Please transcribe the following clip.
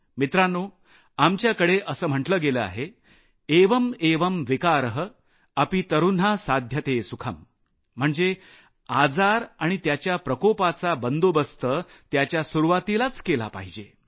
मित्रांनो आमच्याकडे असं म्हटलं गेलं आहे एवं एवं विकारः अपि तरून्हा साध्यते सुखं म्हणजे आजार आणि त्याच्या प्रकोपाचा निपटारा त्याच्या सुरूवातीलाच केला पाहिजे